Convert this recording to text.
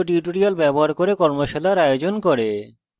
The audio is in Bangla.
কথ্য tutorials ব্যবহার করে কর্মশালার আয়োজন করে